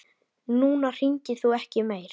Núna hringir þú ekki meir.